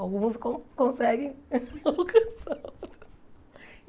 Alguns con conseguem a alocação.